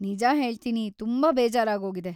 ನಿಜ ಹೇಳ್ತೀನಿ, ತುಂಬಾ ಬೇಜಾರಾಗೋಗಿದೆ.